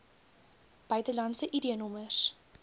buitelandse id nommers